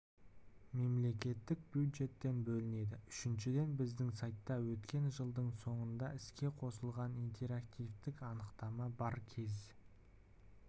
мемлекеттік бюджеттен бөлінеді үшіншіден біздің сайтта өткен жылдың соңында іске қосылған интерактивтік анықтама бар кез